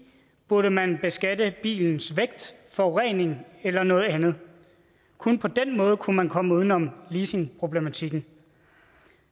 burde man beskatte bilens vægt forurening eller noget andet kun på den måde kunne man komme uden om leasingproblematikken